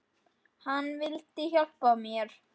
Hann vildi hjálpa mér.